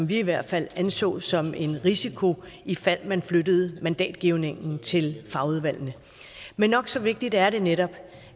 vi i hvert fald anså som en risiko ifald man flyttede mandatgivningen til fagudvalgene men nok så vigtigt er det netop